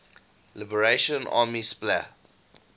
liberation army spla